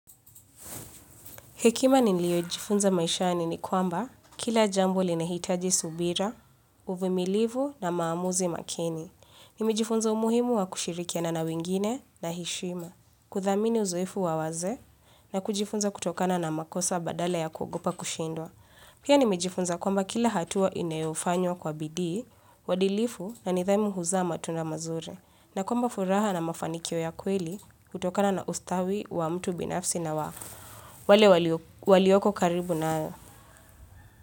Hekima niliojifunza maishani ni kwamba kila jambo linahitaji subira, uvimilivu na maamuzi makini. Nimejifunza umuhimu wa kushirikia na wengine na heshima. Kudhamini uzoefu wawaze na kujifunza kutokana na makosa badala ya kuogopa kushindwa. Pia nimejifunza kwamba kila hatua inayofanywa kwa bidii, uadilfu na nidhamu huza matunda mazuri. Na kwamba furaha na mafanikio ya kweli hutokana na ustawi wa mtu binafsi na wafu. Wale walio walioko karibu nayo.